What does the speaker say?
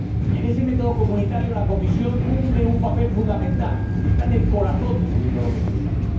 En ese método comunitario la Comisión cumple un papel fundamental, está en el corazón de ese método comunitario.